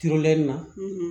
Ture nin na